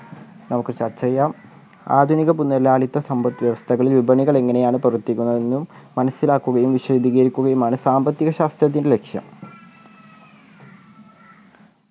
നമുക്ക് ചർച്ച ചെയ്യാം ആധുനിക മുതലാളിത്ത സമ്പത്ത് വ്യവസ്ഥകളിൽ വിപണികൾ എങ്ങനെയാണ് പ്രവർത്തിക്കുന്നത് എന്നും മനസ്സിലാക്കുകയും വിശദീകരിക്കുകയുമാണ് സാമ്പത്തികശാസ്ത്രത്തിൻ്റെ ലക്ഷ്യം